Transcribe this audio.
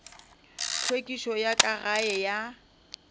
hlwekišo ya ka gae ya